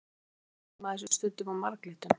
Af hverju brennir maður sig stundum á marglyttum?